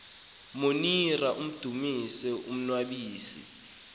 monira amdumise umnnwabisi